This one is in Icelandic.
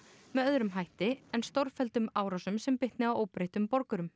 með öðrum hætti en með stórfelldum árásum sem bitni á óbreyttum borgurum